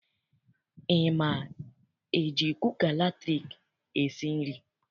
I ma eji kuka latriki esi nri?